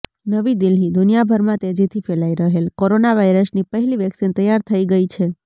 નવી દિલ્હીઃ દુનિયાભરમાં તેજીથી ફેલાઈ રહેલ કોરોનાવાઈરસની પહેલી વેક્સીન તૈયાર થઈ ગઈ છે